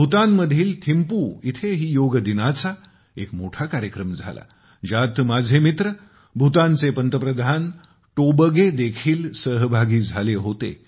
भूतानमधील थिम्पू येथेही योग दिनाचा एक मोठा कार्यक्रम झाला ज्यात माझे मित्र भूतानचे पंतप्रधान टोबगेदेखील सहभागी झाले होते